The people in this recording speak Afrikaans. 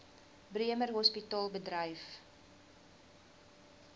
bremer hospitaal bedryf